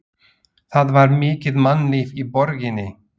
Það var mikið mannlíf í borginni.